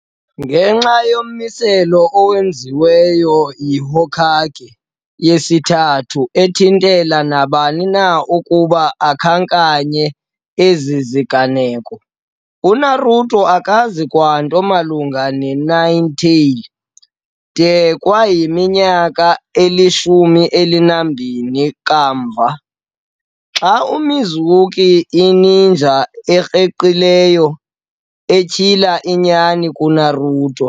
Ngenxa yommiselo owenziwe yi-Hokage yesiThathu ethintela nabani na ukuba akhankanye ezi ziganeko, uNaruto akazi kwanto malunga neNine-Tails de kwayiminyaka eli-12 kamva, xa uMizuki, i-ninja ekreqileyo, etyhila inyani kuNaruto.